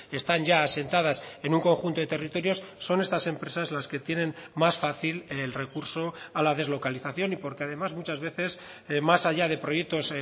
están ya asentadas en un conjunto de territorios son estas empresas las que tienen más fácil el recurso a la deslocalización y porque además muchas veces más allá de proyectos